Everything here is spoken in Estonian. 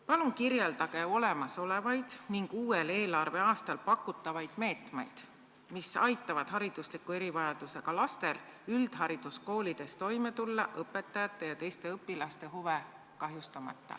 Palun kirjeldage olemasolevaid ning uuel eelarveaastal pakutavaid meetmeid, mis aitavad haridusliku erivajadusega lastel üldhariduskoolides toime tulla õpetajate ja teiste õpilaste huve kahjustamata.